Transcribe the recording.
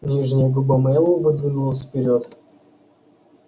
нижняя губа мэллоу выдвинулась вперёд